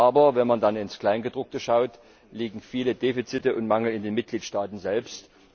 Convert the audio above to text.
Aber wenn man dann ins Kleingedruckte schaut, liegen viele Defizite und Mängel in den Mitgliedstaaten selbst.